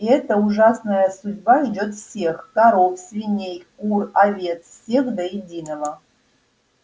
и эта ужасная судьба ждёт всех коров свиней кур овец всех до единого